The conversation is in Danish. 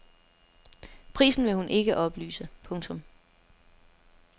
Prisen vil hun ikke oplyse. punktum